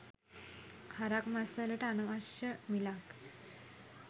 හරක් මස් වලට අනවශ්‍ය මිලක්